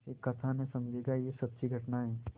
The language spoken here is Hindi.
इसे कथा न समझिएगा यह सच्ची घटना है